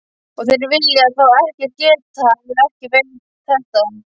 Og þeir vilja þá ekkert geta, ef ekki þetta.